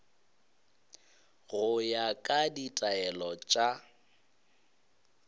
go ya ka ditaelo tša